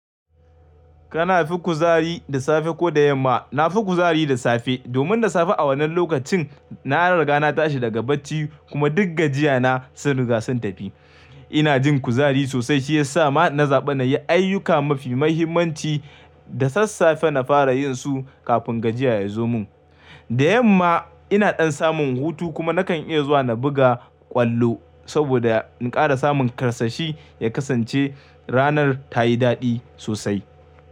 Kana fi kuzari da safe ko da yamma? Na fi kuzari da safe. Domin da safe a wannan lokacin, na riga na tashi daga bacci kuma duk gajiya na sun riga sun tafi. Ina jin kuzari sosai shi ya sa na zaɓi na yi ayyuka mafi mahimmanci da sassafe na fara yin su kafin gajiya ya zo mun. Da yamma ina ɗan samun hutu kuma nakan iya zuwa na buga ƙwallo saboda na ƙara samun karsashi ya kasance ranar ta yi daɗi sosai.